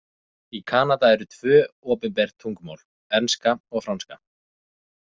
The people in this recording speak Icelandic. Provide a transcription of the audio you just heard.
Í Kanada eru tvö opinber tungumál, enska og franska.